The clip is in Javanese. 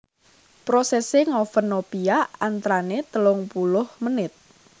Prosèsè ngoven nopia antranè telung puluh menit